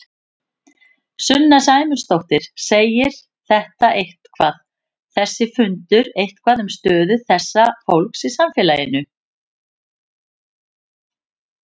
Sunna Sæmundsdóttir: Segir þetta eitthvað, þessi fundur eitthvað um stöðu þessa fólks í samfélaginu?